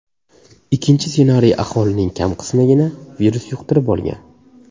Ikkinchi ssenariy aholining kam qismigina virus yuqtirib olgan.